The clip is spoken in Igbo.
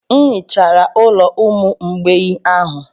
M hichara ụlọ ụmụ mgbei ahụ.